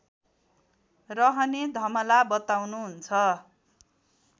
रहने धमला बताउनुहुन्छ